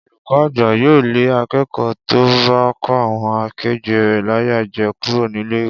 Olùkó̩ àgbà yóò lé aké̩kò̩ó̩ tó bá kó àwo̩n ake̩gbé̩ rè̩ láyà je̩ kúrò nílé ìwé